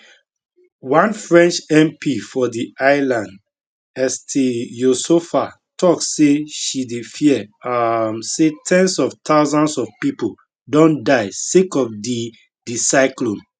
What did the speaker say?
one french mp for di island estelle youssouffa tok say she dey fear um say ten s of thousands of pipo don die sake of di di cyclone